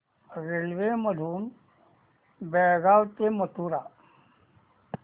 railway मधून बेळगाव ते मथुरा